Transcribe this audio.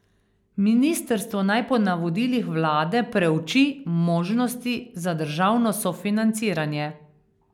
Ministrstvo naj po navodilih vlade preuči možnosti za državno sofinanciranje.